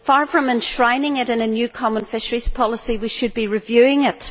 Far from enshrining it in a new common fisheries policy, we should be reviewing it.